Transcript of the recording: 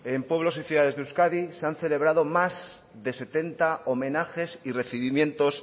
en pueblos y ciudades de euskadi se han celebrado más de setenta homenajes y recibimientos